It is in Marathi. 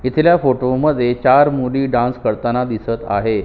तिसऱ्या फोटो मध्ये चार मुली डांस करताना दिसत आहेत.